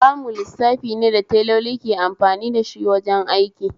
Kamu lissafi ne da teloli ke amfani dashi wajen aiki